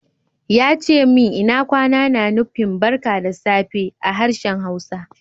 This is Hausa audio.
Ya ce min lna kwana na nufin "barka da safe" a harshen Hausa.